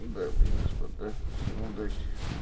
дамы и господа всем удачи